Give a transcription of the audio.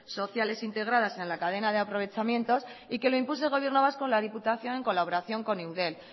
sociales integradas en la cadena de aprovechamientos y que lo impulse el gobierno vasco la diputación en colaboración con eudel